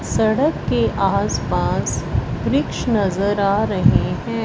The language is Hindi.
सड़क के आसपास वृक्ष नजर आ रहें हैं।